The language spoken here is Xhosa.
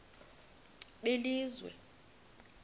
belizwe